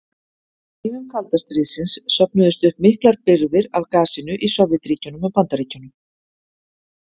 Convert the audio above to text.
Á tímum kalda stríðsins söfnuðust upp miklar birgðir af gasinu í Sovétríkjunum og Bandaríkjunum.